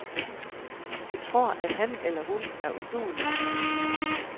De tror, at han eller hun er uduelig.